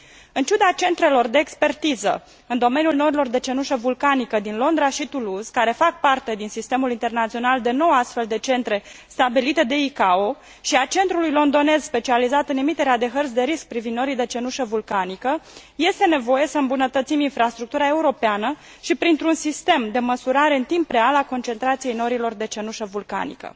În ciuda centrelor de expertiză în domeniul norilor de cenușă vulcanică din Londra și Toulouse, care fac parte din sistemul internațional de nouă astfel de centre stabilite de ICAO și a Centrului londonez specializat în emiterea de hărți de risc privind norii de cenușă vulcanică, este nevoie să îmbunătățim infrastructura europeană și printr un sistem de măsurare în timp real a concentrației norilor de cenușă vulcanică.